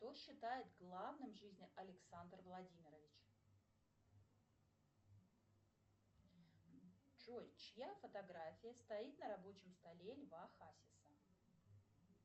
что считает главным в жизни александр владимирович джой чья фотография стоит на рабочем столе льва хасиса